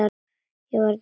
Ég varð að drífa mig.